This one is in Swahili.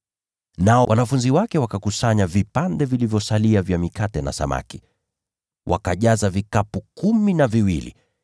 Nao wanafunzi wake wakakusanya vipande vilivyosalia vya mikate na samaki, wakajaza vikapu kumi na viwili.